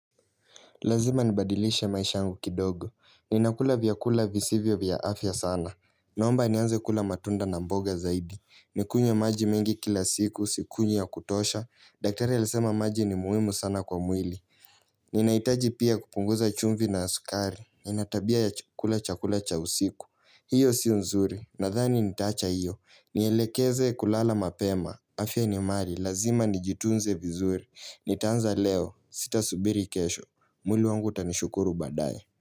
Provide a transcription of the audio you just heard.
Lazima nabadilishe maisha yangu kidogo. Ninakula vyakula visivyo vya afya sana. Naomba nianze kula matunda na mboga zaidi. Nikunywe maji mengi kila siku, sikunywi ya kutosha. Daktari alisema maji ni muhimu sana kwa mwili. Ninahitaji pia kupunguza chumvi na sukari. Nina tabia ya kula chakula cha usiku. Hiyo sio nzuri. Nathani nitaacha hiyo. Nielekeze kulala mapema. Afya ni mali. Lazima nijitunze vizuri. Nitaanza leo. Sita subiri kesho. Mwili wangu utanishukuru baadaye.